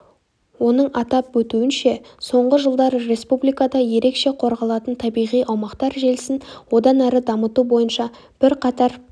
оның атап өтуінше соңғы жылдары республикада ерекше қорғалатын табиғи аумақтар желісін одан ары дамыту бойынша бірқатар